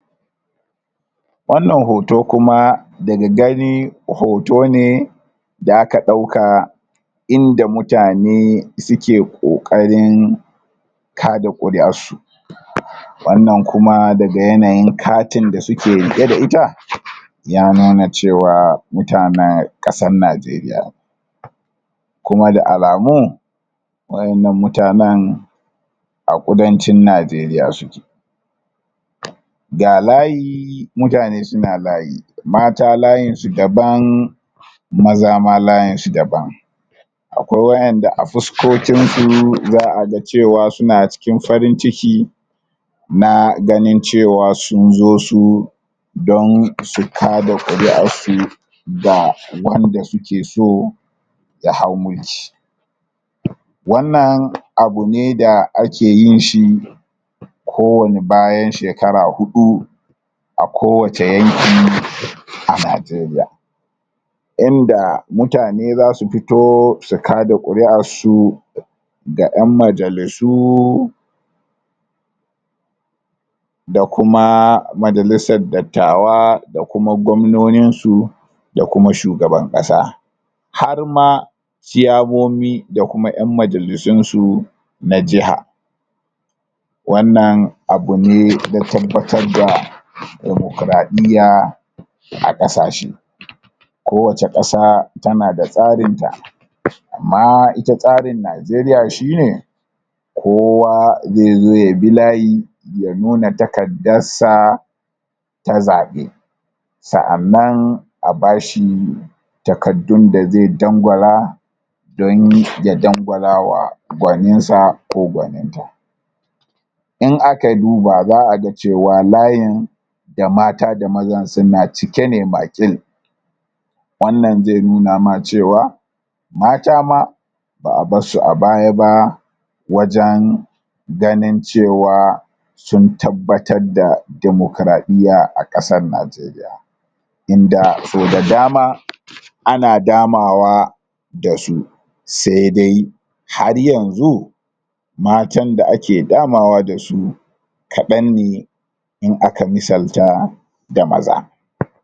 wannan hoto kuma daga gani hoto ne da aka dauka inda mutane suke kokarin kada quri'arsu?? wannan kuma daga yanayin katin da suke riqe da ita?? ya nuna cewa mutane kasan nijeriya ne? kuma da alamu wa'ennan mutane a kudancin nijeriya suke?? ga layi mutane suna layi mata [ayin su daban maza ma layinsu daban akwai wa'enda a fuskokinsu zaa ga cewa suna cikin farin ciki na ganin cewa sun zo su don su kaada quri'arsu da wanda suke so ya hau mulki? wannan abu ne da ake yin shi ko wani bayan shekara hudu a kowace yanki a najeriya inda mutane zasu fito su kaada quri'arsu? da yan majalisu da kuma majalisar dattawa da kuma gwamnonin su da kuma shugaban kasa har ma chiyamomi da kuma yan majalisun su na jiha wannan abune na tabbatar da demokradiyya a kasashe? ko wace kasa tana da tsarin ta amma ita tsarin najeriya shine kowa zai zo ya bi layi ya nuna takadarsa ta zabe sa'annan a bashi takaddun da zai dangwala don ya dangwala wa gwaninsa ko gwaninta in aka duba zaa ga cewa layin da mata da mazan suna cike ne makil wannan zai nuna ma cewa mata ma baa barsu a baya ba wajen ganin cewa sun tabbatar da demokradiyya a kasan najeriya inda so da dama ana damawa dasu sai dai har yanxu matan da ake dama wa dasu kadan ne in aka misalta da maza?